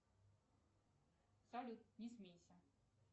салют не смейся